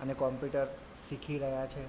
અને computer શીખી રહ્યાં છે.